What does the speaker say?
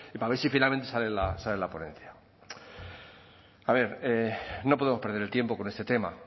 y para ver si finalmente sale la ponencia a ver no podemos perder el tiempo con este tema